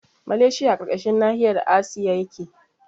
Maleshiya a ƙarƙashin nahiyar asiya yake